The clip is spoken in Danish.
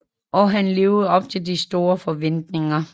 Og han levede op til de store forventninger